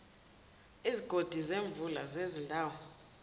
izigodi zemvula zezindawo